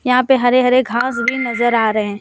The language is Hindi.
यहां पे हरे हरे घास भी नजर आ रहे--